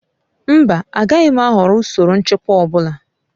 Mba, agaghị m ahọrọ usoro nchịkwa ọ bụla